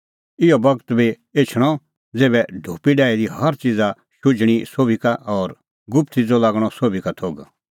इहअ बगत बी एछणअ ज़ेभै ढोपी डाही दी हर च़ीज़ शुझणीं सोभी का और गुप्त च़िज़ो लागणअ सोभी का थोघ